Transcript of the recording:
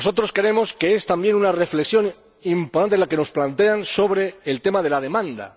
Creemos que es también una reflexión importante la que nos plantean sobre el tema de la demanda.